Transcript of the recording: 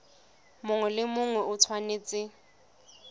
mongwe le mongwe o tshwanetse